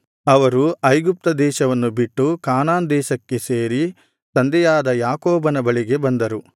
ಅವರು ಐಗುಪ್ತ ದೇಶವನ್ನು ಬಿಟ್ಟು ಕಾನಾನ್ ದೇಶಕ್ಕೆ ಸೇರಿ ತಂದೆಯಾದ ಯಾಕೋಬನ ಬಳಿಗೆ ಬಂದರು